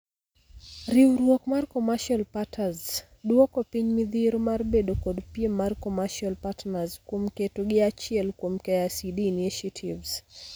Riuruok mar commercial parters duoko piny midhiero mar bedo kod piem mar commercial partners kuom keto gi achiel kuom KICD initiatives.